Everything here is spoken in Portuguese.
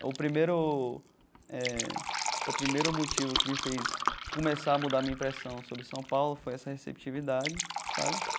o primeiro eh o primeiro motivo que me fez começar a mudar minha impressão sobre São Paulo, foi essa receptividade sabe.